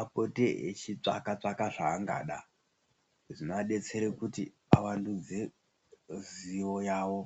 apote echitsvaka-tsvaka zvaangada zvinoadetsere kuti avandudze zivo yavo.